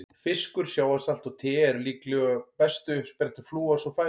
Fiskur, sjávarsalt og te eru líklega bestu uppsprettur flúors úr fæðu.